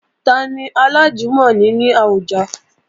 Tani alájùmọ̀ni ní àwùjọ?